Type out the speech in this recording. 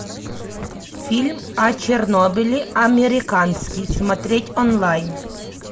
фильм о чернобыле американский смотреть онлайн